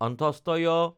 য়